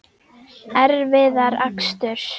Erfiðar aksturs